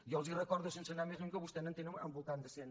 jo els recordo sense anar més lluny que vostès en tenen al voltant de cent